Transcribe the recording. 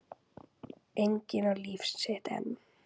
Enginn á líf sitt einn.